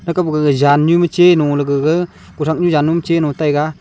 thakappe gag zan nu ma cheluley gag kothaknu zannu chelu taiga.